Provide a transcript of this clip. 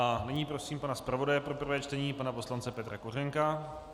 A nyní prosím pana zpravodaje pro prvé čtení pana poslance Petra Kořenka.